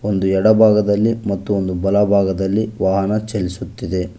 ಒಂದು ಎಡಭಾಗದಲ್ಲಿ ಮತ್ತು ಒಂದು ಬಲಭಾಗದಲ್ಲಿ ವಾಹನ ಚಲಿಸುತ್ತಿದೆ.